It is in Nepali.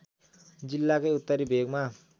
जिल्लाकै उत्तरी भेगमा